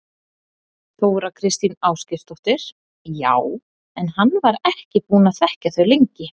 Þóra Kristín Ásgeirsdóttir: Já, en hann var ekki búinn að þekkja þau lengi?